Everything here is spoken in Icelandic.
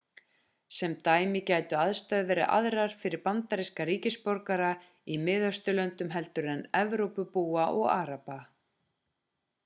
sem dæmi gætu aðstæður verið aðrar fyrir bandaríska ríkisborgara í miðausturlöndum heldur en evrópubúa og araba